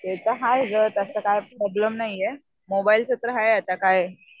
ते तर हाय गं तसं काय प्रॉब्लेम नाहीये. मोबाईलच तर हाय आता काय.